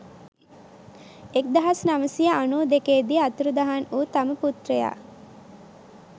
එක්දහස් නවසිය අනු දෙකේ දී අතුරුදහන් වූ තම පුත්‍රයා